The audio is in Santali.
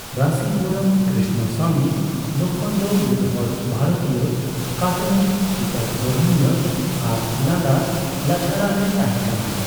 ᱨᱟᱹᱥᱤᱯᱩᱨᱚᱢ ᱠᱨᱤᱥᱱᱚᱥᱟᱢᱤ ᱞᱚᱠᱠᱷᱚᱱ ᱫᱚ ᱢᱤᱫᱦᱚᱲ ᱵᱷᱟᱨᱚᱛᱤᱭᱟᱹ ᱠᱟᱨᱴᱩᱱᱤᱥᱴ, ᱪᱤᱛᱟᱹᱨ ᱜᱚᱲᱦᱚᱱᱤᱭᱟᱹ ᱟᱨ ᱞᱟᱸᱫᱟ ᱞᱟᱪᱷᱟᱲᱟᱱᱮ ᱛᱟᱦᱮᱸ ᱠᱟᱱᱟᱭ ᱾